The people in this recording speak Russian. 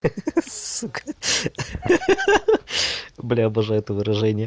ха ха сука ха ха блядь обожаю это выражение